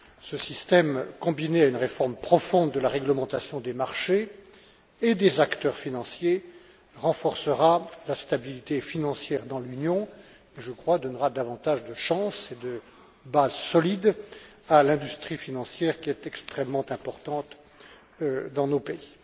Ce système, combiné à une réforme profonde de la réglementation des marchés et des acteurs financiers, renforcera la stabilité financière dans l'Union et, je crois, donnera davantage de chances et de bases solides à l'industrie financière, qui est extrêmement importante dans nos pays.